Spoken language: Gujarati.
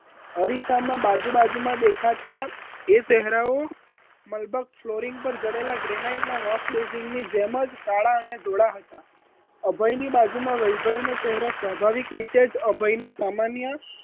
અરીસામાં બાજુ બાજુમાં દેખાતા એ ચહેરાઓ મલબક ફ્લોરિન પર જડેલા ગ્રેનાઇટના wash basin ની જેમ જ કાળા અને ધોળા હતા અભયની બાજુમાં વૈભવી નો ચહેરો સ્વાભાવિક રીતે જ અભય ના સામાન્ય